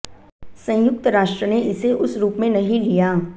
संयुक्त राष्ट्र ने इसे उस रूप में नहीं लिया